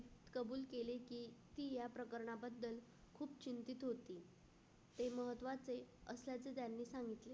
कबूल केले की या प्रकरणाबद्दल खूप चिंतेत होती. ते महत्त्वाचे असाध्य ज्यांनी सांगितले.